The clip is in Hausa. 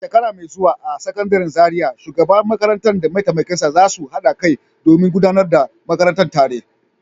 A shekara mai zuwa a Sakandaren Zariya, shugaban makarantar da mataimakinsa za su haɗa kai domin gudanar da makarantar tare.